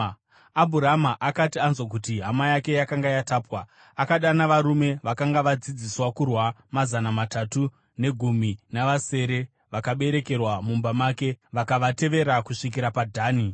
Abhurama akati anzwa kuti hama yake yakanga yatapwa, akadana varume vakanga vadzidziswa kurwa mazana matatu negumi navasere vakaberekerwa mumba make vakavatevera kusvikira paDhani.